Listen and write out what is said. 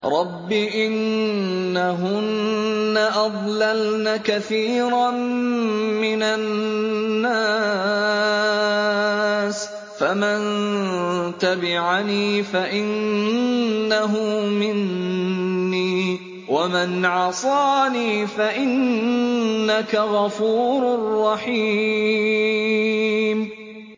رَبِّ إِنَّهُنَّ أَضْلَلْنَ كَثِيرًا مِّنَ النَّاسِ ۖ فَمَن تَبِعَنِي فَإِنَّهُ مِنِّي ۖ وَمَنْ عَصَانِي فَإِنَّكَ غَفُورٌ رَّحِيمٌ